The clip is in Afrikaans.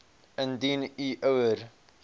indien u ouer